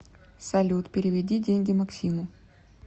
салют переведи деньги максиму